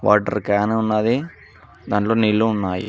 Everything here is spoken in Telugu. వాటర్ క్యాను ఉన్నాది దాంట్లో నీళ్ళు ఉన్నాయి.